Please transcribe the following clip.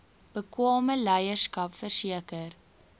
bekwame leierskap verseker